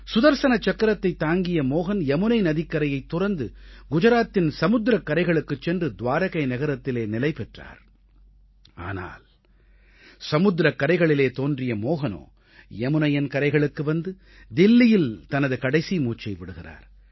சுதர்ஸன சக்கரத்தைத் தாங்கிய மோஹன் யமுனை நதிக்கரையைத் துறந்து குஜராத்தின் சமுத்திரக் கரைகளுக்குச் சென்று துவாரகை நகரத்திலே நிலை பெற்றார் ஆனால் சமுத்திரக் கரைகளிலே தோன்றிய மோஹனோ யமுனையின் கரைகளுக்கு வந்து தில்லியில் தனது கடைசி மூச்சை விடுகிறார்